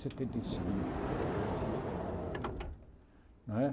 Setenta e cinco não teria problema nenhum. Não é